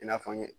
I n'a fɔ n ɲe